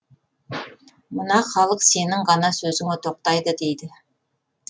мына халық сенің ғана сөзіңе тоқтайды дейді